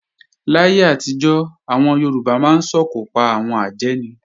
Láyé àtijọ́, àwọn Yorùbá máa ń sòkò pa àwọn àjẹ́ ni